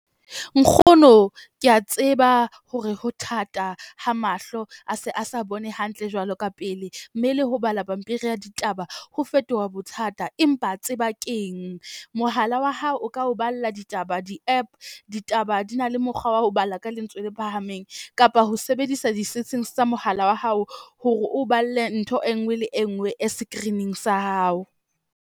Nkgono ke a tseba hore ho thata ha mahlo a se a sa bone hantle jwalo ka pele. Mme le ho bala pampiri ya ditaba ho fetoha bothata, empa tseba keng mohala wa hao o ka o balla ditaba di-app. Ditaba di na le mokgwa wa ho bala ka lentswe le phahameng kapa ho sebedisa di-settings tsa mohala wa hao hore o balle ntho e nngwe le e nngwe e screening sa hao.